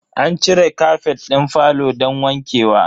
An cire kafet din falo don wanke wa.